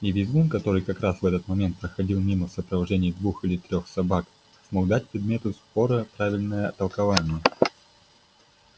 и визгун который как раз в этот момент проходил мимо в сопровождении двух или трёх собак смог дать предмету спора правильное толкование